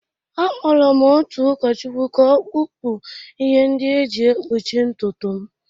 Akpọrọ m otu ụkọchukwu ka ọ kpụpụ ihe ndị e ji ekpuchi ntutu m